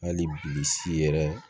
Hali bi si yɛrɛ